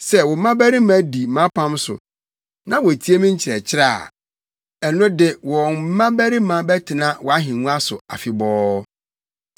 Sɛ wo mmabarima di mʼapam so na wotie me nkyerɛkyerɛ a, ɛno de wɔn mmabarima bɛtena wʼahengua so afebɔɔ.”